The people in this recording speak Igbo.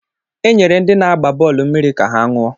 Enyere ndị na-agba bọọlụ mmiri ka ha ṅụọ.